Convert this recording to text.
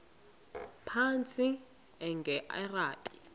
phantsi enge lrabi